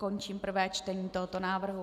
Končím prvé čtení tohoto návrhu.